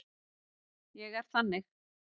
Ég er þannig.